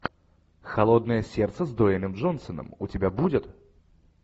холодное сердце с дуэйном джонсоном у тебя будет